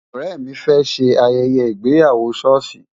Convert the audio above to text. Ọ̀rẹ́ mi fẹ́ ṣe ayẹyẹ ìgbéyàwó ṣọ́ọ̀ṣì.